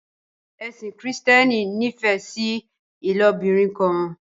Ẹsìn kristiani n'ifẹ sí ilobirin kan